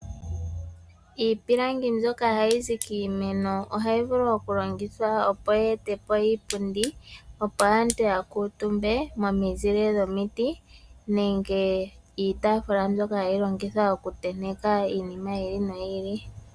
Iipilangi mbyoka hayi zi kiimeno oha yi vulu oku longithwa, opo yi etepo iipundi opo aantu ya kuutumbe momi zile dhomiti nenge iitaafula, mbyoka hayi longithwa oku tenteka iinima yi ili no yi ili.